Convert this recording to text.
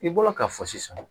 I bɔra ka fɔ sisan